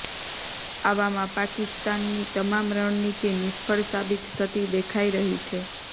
આવામાં પાકિસ્તાનની તમામ રણનીતિ નિષ્ફળ સાબિત થતી દેખાઈ રહી છે